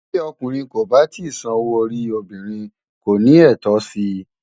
Bí ọkùnrin kò bá tíì san owó orí obìnrin, kò ní ẹ̀tọ́ sí i.